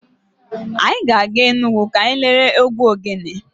Anyị ga-aga Enugwu ka anyị lere egwu ogele.